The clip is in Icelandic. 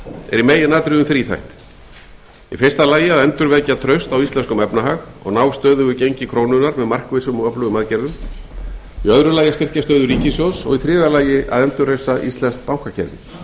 er í meginatriðun þríþætt í fyrsta lagi að endurvekja traust á íslenskum efnahag og ná stöðugu gengi krónunnar með markvissum og öflugum aðgerðum í öðru lagi að styrkja stöðu ríkissjóðs og í þriðja lagi að endurreisa íslenskt bankakerfi við